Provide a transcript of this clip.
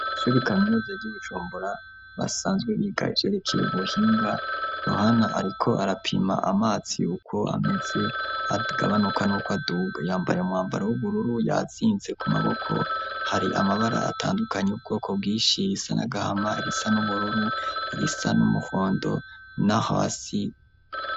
Shubikamyuze ry'ubuchombora basanzwe biga jerekeye ubuhinga yohana, ariko arapima amatsi yuko ameze agabanuka n'uko aduga yambare mwambaro w'ubururu yazinze ku maboko hari amabara atandukanyi wubwoko bwishi irisa nagahama irisa n'umururu irisa n'umuhondo, naho asi.